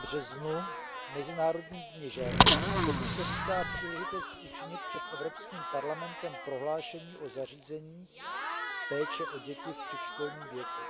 8. březnu, Mezinárodním dni žen, Komise vítá příležitost učinit před Evropským parlamentem prohlášení o zařízeních péče o děti v předškolním věku.